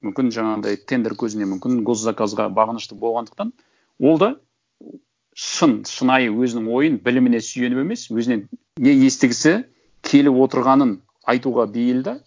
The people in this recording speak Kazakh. мүмкін жаңағындай тендер көзіне мүмкін госзаказға бағынышты болғандықтан ол да шын шынайы өзінің ойын біліміне сүйеніп емес өзінен не естігісі келіп отырғанын айтуға бейіл де